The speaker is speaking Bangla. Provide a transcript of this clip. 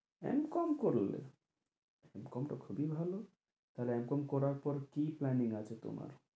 এম কম করলে? এম কম টা খুবই ভালো, তাহলে এম কম করার পর কী plaing আছে তোমার?